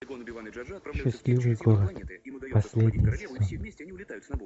счастливый город последний сезон